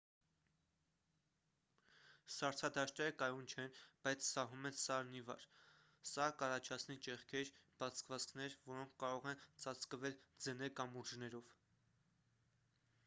սառցադաշտերը կայուն չեն բայց սահում են սարն ի վար սա կառաջացնի ճեղքեր բացվածքներ որոնք կարող են ծածկվել ձնե կամուրջներով